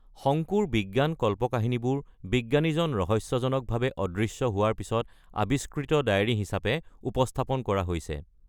শংকুৰ বিজ্ঞান কল্পকাহিনীবোৰ বিজ্ঞানীজন ৰহস্যজনকভাৱে অদৃশ্য হোৱাৰ পিছত আৱিষ্কৃত ডায়েৰী হিচাপে উপস্থাপন কৰা হৈছে।